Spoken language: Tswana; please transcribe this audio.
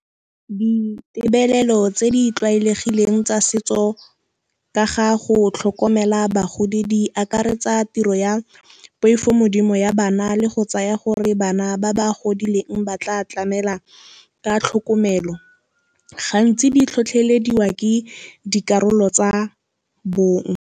Ditebelelo tse di tlwaelegileng tsa setso ka ga go tlhokomela bagodi di akaretsa tiro ya poifomodimo ya bana le go tsaya gore, bana ba ba godileng ba tla tlamela ka tlhokomelo. Gantsi di tlhotlhelediwa ke dikarolo tsa bong.